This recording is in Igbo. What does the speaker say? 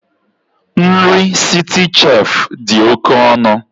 Nri Citicef dị oke ọnụ